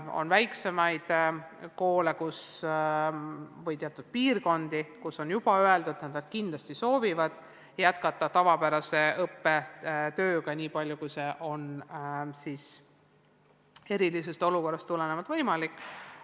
On selliseid väikesi koole või teatud piirkondi, kus on juba öeldud, et nad kindlasti soovivad jätkata tavapärase õppetööga niipalju, kui see erilisest olukorrast tulenevalt võimalik on.